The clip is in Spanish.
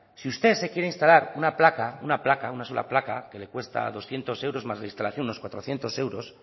si usted se quiere instalar una placa una placa una sola placa que le cuesta doscientos euros más la instalación unos cuatrocientos euros